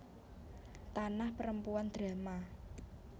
Tanah Perempuan drama